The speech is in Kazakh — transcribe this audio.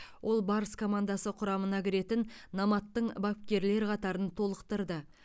ол барыс командасы құрамына кіретін номадтың бапкерлер қатарын толықтырды